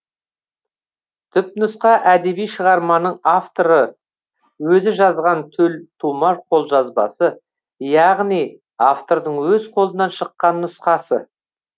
түпнұсқа әдеби шығарманың авторы өзі жазған төлтума қолжазбасы яғни автордың өз қолынан шыққан нұсқасы